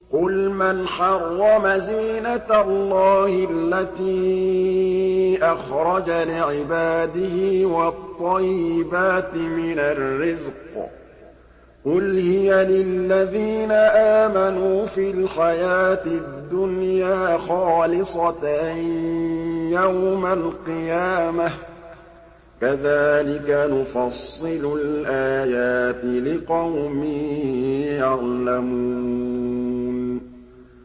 قُلْ مَنْ حَرَّمَ زِينَةَ اللَّهِ الَّتِي أَخْرَجَ لِعِبَادِهِ وَالطَّيِّبَاتِ مِنَ الرِّزْقِ ۚ قُلْ هِيَ لِلَّذِينَ آمَنُوا فِي الْحَيَاةِ الدُّنْيَا خَالِصَةً يَوْمَ الْقِيَامَةِ ۗ كَذَٰلِكَ نُفَصِّلُ الْآيَاتِ لِقَوْمٍ يَعْلَمُونَ